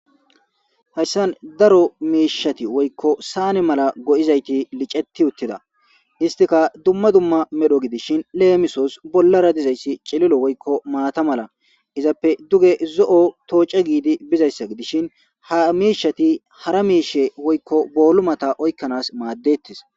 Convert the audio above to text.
hayssan daro miishati woykko saane mala go7izayti liceti uttida istika dumma dumma medho gidishin leemisos bollara dizayssi cililo woykko maata mala izappe duge zo7o tooca giidi bizayssa gidishin ha miishati hara miishe woykko boolumata oykkanaas maaddettis